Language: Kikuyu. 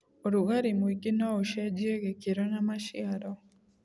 ũrugarĩ mũingĩ noũcenjie gĩkĩro na maciaro.